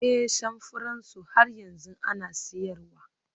Ee, samfuran su har yanzu ana siyarwa